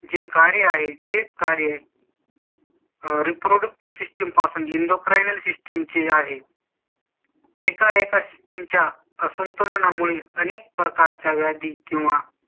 जे कार्य आहे तेच कार्य . reproductive system पासून endocrine system ची आहे . एकाएका system च्या असंतुलनामुळे अनेक प्रकारच्या व्याधी किंवा